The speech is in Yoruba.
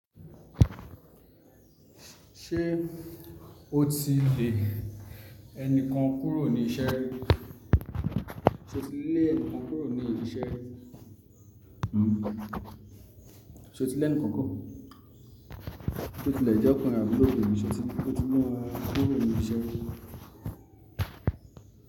Ṣé o ti lè ẹni kan kúrò ní iṣẹ́? Sé o ti lé ẹnìkan kúrò ní ibi iṣẹ́? Ṣé o ti lẹ ẹnìkan kúrò? Sé o ti lè je ọkùnrin abi obinrin, se ọ ti le won kúrò ní ibi iṣẹ́ ri?